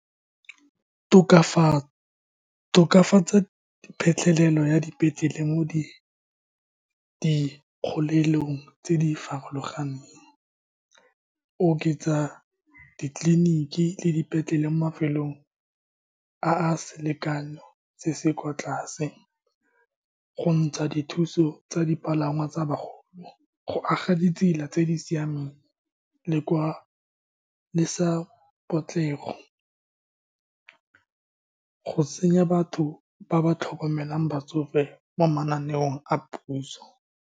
Tokafatsa phitlhelelo ya dipetlele mo di dikgolelong tse di farologaneng. Oketsa ditleliniki le dipetlele mo mafelong a a selekanyo se se ko tlase, go ntsha dithuso tsa dipalangwa tsa bagolo, go aga ditsela tse di siameng le kwa, le sa potlego. Go tsenya batho ba ba tlhokomelang batsofe mo mananeong a puso.